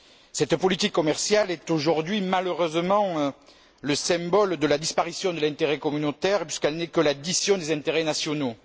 Cette politique commerciale est aujourd'hui malheureusement le symbole de la disparition de l'intérêt communautaire, puisqu'elle n'est que l'addition des intérêts nationaux.